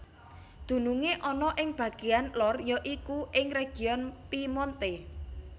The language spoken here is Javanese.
Dunungé ana ing bagéan lor ya iku ing region Piemonte